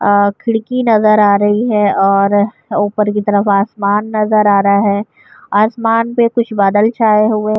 آ کھڑکی نظر آ رہی ہے اور اپر کی طرف آسمان نظر آ رہا ہے۔ آسمان پی کچھ بادل چھاہے ہوئے ہے۔